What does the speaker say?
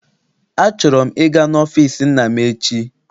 Achọrọ m ịga n'ọfịịsi nna m echi.